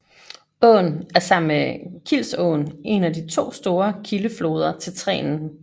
Åen er sammen med Kilsåen en af de to store kildefloder til Trenen